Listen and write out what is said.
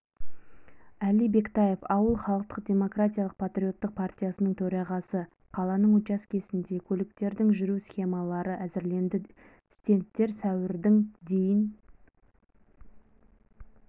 әли бектаев ауыл халықтық-демократиялық патриоттық партиясының төрағасы қаланың учаскесінде көліктердің жүру схемалары әзірленді стендтер сәуірдің дейін